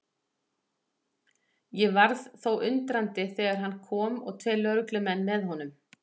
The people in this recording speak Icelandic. Ég varð þó undrandi þegar hann kom og tveir lögreglumenn með honum.